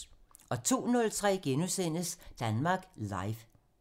02:03: Danmark Live *